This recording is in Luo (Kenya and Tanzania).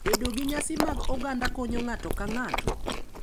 Bedo gi nyasi mag oganda konyo ng’ato ka ng’ato,